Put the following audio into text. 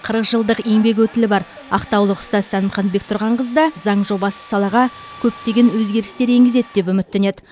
қырық жылдық еңбек өтілі бар ақтаулық ұстаз сәнімхан бектұрғанқызы да заң жобасы салаға көптеген өзгерістер енгізеді деп үміттенеді